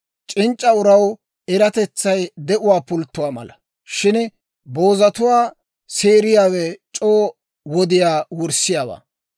C'inc'c'a uraw eratetsay de'uwaa pulttuwaa mala; shin boozatuwaa seeriyaawe c'oo wodiyaa wurssiyaawaa.